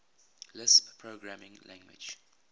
lisp programming language